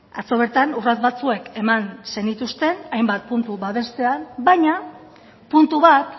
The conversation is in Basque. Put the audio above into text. atzo bertan urrats batzuek eman zenituzten hainbat puntu babestean baina puntu bat